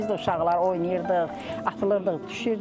Biz də uşaqlar oynayırdıq, atılırdıq, düşürdük.